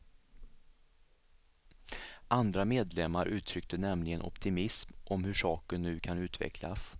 Andra medlemmar uttryckte nämligen optimism om hur saken nu kan utvecklas.